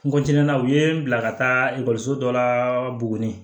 N na u ye n bila ka taa ekɔliso dɔ la buguni